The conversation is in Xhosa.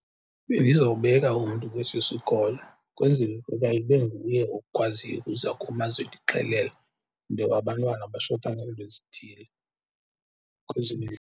Bendizawubeka umntu kwesi sikolo kwenzele ukuba ibe nguye okwaziyo ukuza kum azondixelela into yoba abantwana bashota ngeento ezithile .